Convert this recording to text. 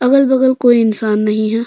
अगल बगल कोई इंसान नहीं है।